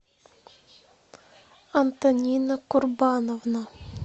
антонина курбановна